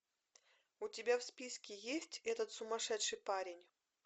у тебя в списке есть этот сумасшедший парень